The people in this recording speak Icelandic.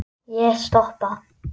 Ég stoppa.